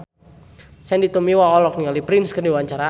Sandy Tumiwa olohok ningali Prince keur diwawancara